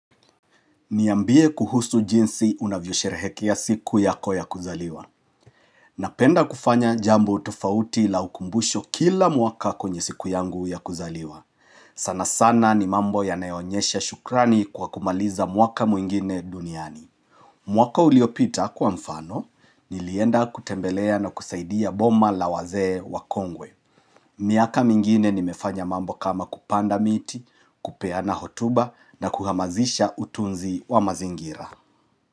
Niambie kuhusu jinsi unavyosherehekea siku yako ya kuzaliwa. Napenda kufanya jambo tofauti la ukumbusho kila mwaka kwenye siku yangu ya kuzaliwa. Sana sana ni mambo yanayoonyesha shukrani kwa kumaliza mwaka mwingine duniani. Mwaka uliopita kwa mfano, nilienda kutembelea na kusaidia boma la wazee wa kongwe. Miaka mingine nimefanya mambo kama kupanda miti, kupeana hotuba na kuhamazisha utunzi wa mazingira.